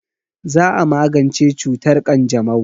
Za a magance cutar ƙanjamau.